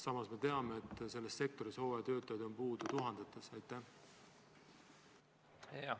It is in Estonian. Samas me teame, et selles sektoris on hooajatöötajaid puudu tuhandeid.